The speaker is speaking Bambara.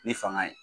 Ni fanga ye